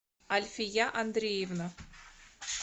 альфия андреевна